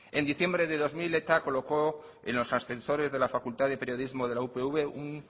en diciembre de dos mil eta colocó en los ascensores de la facultad de periodismo de la upv un